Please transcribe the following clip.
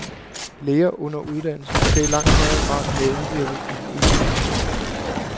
Læger under uddannelse skal i langt højere grad medvirke i den egentlige patientbehandling.